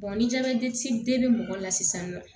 ni jabɛti be mɔgɔ la sisan nɔ